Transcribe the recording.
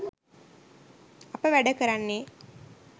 අප වැඩ කරන්නේ